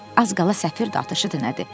Az qala səfir də atışıdı nədir.